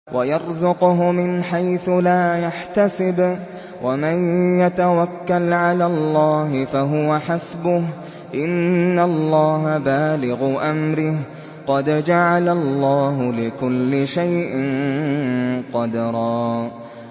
وَيَرْزُقْهُ مِنْ حَيْثُ لَا يَحْتَسِبُ ۚ وَمَن يَتَوَكَّلْ عَلَى اللَّهِ فَهُوَ حَسْبُهُ ۚ إِنَّ اللَّهَ بَالِغُ أَمْرِهِ ۚ قَدْ جَعَلَ اللَّهُ لِكُلِّ شَيْءٍ قَدْرًا